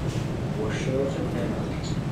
Woshot e penalti.